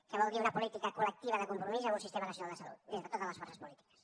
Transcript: que vol dir una política colde compromís amb un sistema nacional de salut des de totes les forces polítiques